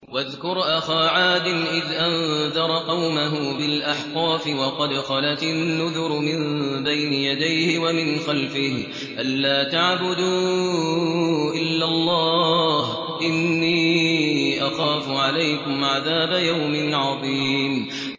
۞ وَاذْكُرْ أَخَا عَادٍ إِذْ أَنذَرَ قَوْمَهُ بِالْأَحْقَافِ وَقَدْ خَلَتِ النُّذُرُ مِن بَيْنِ يَدَيْهِ وَمِنْ خَلْفِهِ أَلَّا تَعْبُدُوا إِلَّا اللَّهَ إِنِّي أَخَافُ عَلَيْكُمْ عَذَابَ يَوْمٍ عَظِيمٍ